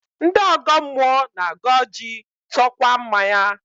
Ndị ọgọ mmụọ na-agọ ọjị, tụọkwa mmanya